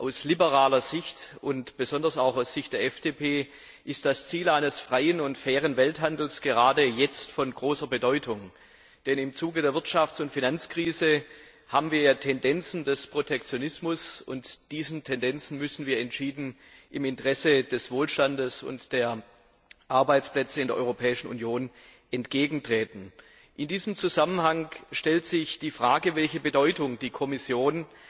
Aus Sicht der Liberalen und besonders auch aus Sicht der FDP ist das Ziel eines freien und fairen Welthandels gerade jetzt von großer Bedeutung, denn im Zuge der Wirtschafts und Finanzkrise haben wir ja Tendenzen des Protektionismus, und diesen Tendenzen müssen wir im Interesse des Wohlstands und der Arbeitsplätze in der Europäischen Union entschieden entgegentreten. In diesem Zusammenhang stellt sich die Frage, welche Bedeutung die Kommission